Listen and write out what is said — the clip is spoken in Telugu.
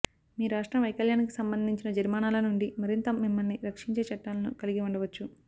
మీ రాష్ట్రం వైకల్యానికి సంబంధించిన జరిమానాల నుండి మరింత మిమ్మల్ని రక్షించే చట్టాలను కలిగి ఉండవచ్చు